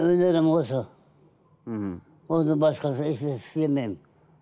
өнерім осы мхм одан басқа ешнәрсе істей алмаймын